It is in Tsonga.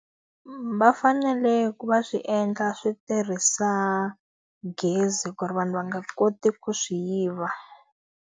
Va fanele ku va swi endla swi tirhisa gezi ku ri vanhu va nga koti ku swi yiva.